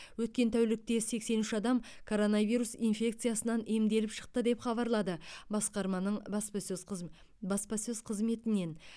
өткен тәулікте сексен үш адам коронавирус инфекциясынан емделіп шықты деп хабарлады басқарманың баспасөз қыз баспасөз қызметінен